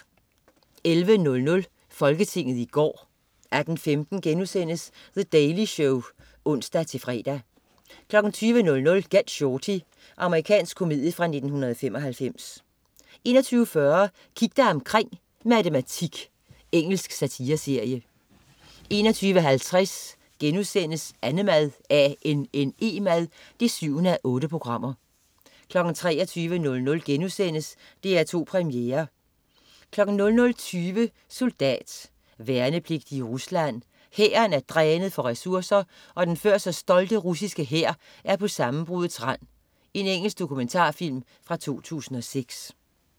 11.00 Folketinget i går 18.15 The Daily Show* (ons-fre) 20.00 Get Shorty. Amerikansk komedie fra 1995 21.40 Kig dig omkring: Matematik. Engelsk satireserie 21.50 Annemad 7:8* 23.00 DR2 Premiere* 00.20 Soldat. Værnepligtig i Rusland. Hæren er drænet for ressourcer, og den før så stolte russiske hær er på sammenbruddets rand. Engelsk dokumentarfilm fra 2006